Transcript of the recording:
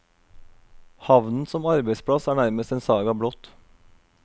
Havnen som arbeidsplass er nærmest en saga blott.